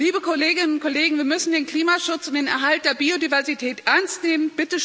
Liebe Kolleginnen und Kollegen, wir müssen den Klimaschutz und den Erhalt der Biodiversität ernst nehmen.